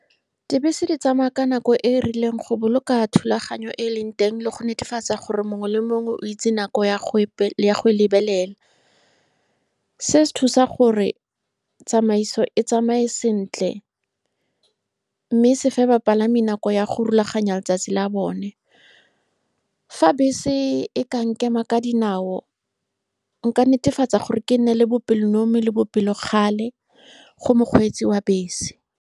Dibese di tsamaya ka nako e e rileng go boloka thulaganyo e e leng teng le go netefatsa gore mongwe le mongwe o itse nako ya go , ya go lebelela. Se se thusa gore tsamaiso e tsamaye sentle mme se fe bapalami nako ya go rulaganya letsatsi la bone. Fa bese e ka nkema ka dinao, nka netefatsa gore ke nne le bopelonomi le bopelokgale go mokgweetsi wa bese.